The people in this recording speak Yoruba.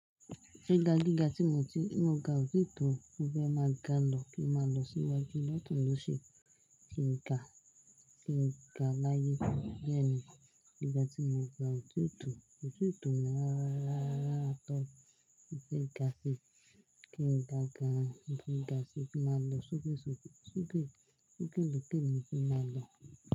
Gíga gíga tí mo ti mo ga ò tí ì tó mo fẹ máa ga lọ kí máa lọ síwájú lọ tún ló ṣì kí n ga kí n ga láyé. Bẹ́ẹ̀ ni gíga tí mo ga ò tí ò tò, ò tí ì tò mi ara ara at all mó fẹ́ ga sí kí ń ga gan mo fẹ́ ga sí kí n máa lọ sókè sókè sókè sókè lọkè ni kí máa lọ.